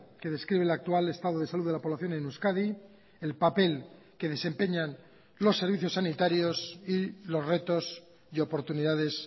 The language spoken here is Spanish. que describe el actual estado de salud de la población en euskadi el papel que desempeñan los servicios sanitarios y los retos y oportunidades